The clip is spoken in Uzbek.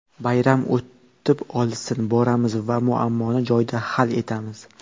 Bayram o‘tib olsin, boramiz va muammoni joyida hal etamiz”.